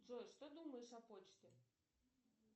джой что думаешь о почте